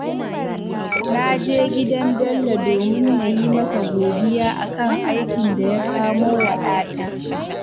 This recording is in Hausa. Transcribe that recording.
Na je gidan Bello domin na yi masa godiya a kan aikin da ya samo wa ‘yata